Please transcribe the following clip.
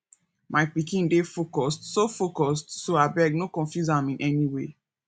my pikin dey focused so focused so abeg no confuse am in any way